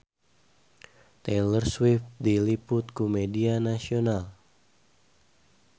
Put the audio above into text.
Taylor Swift diliput ku media nasional